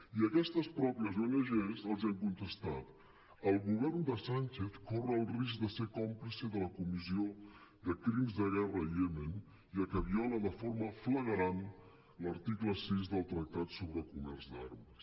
i aquestes mateixes ong els han contestat el govern de sánchez corre el risc de ser còmplice de la comissió de crims de guerra al iemen ja que viola de forma flagrant l’article sis del tractat sobre comerç d’armes